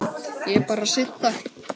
Ég bara sit þar.